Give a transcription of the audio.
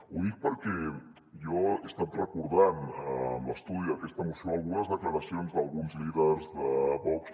ho dic perquè jo he estat recordant amb l’estudi d’aquesta moció algunes declaracions d’alguns líders de vox